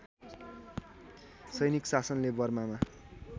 सैनिक शासनले बर्मामा